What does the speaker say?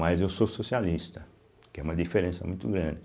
Mas eu sou socialista, que é uma diferença muito grande.